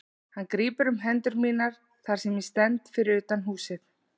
Hann grípur um hendur mínar þar sem ég stend fyrir utan húsið.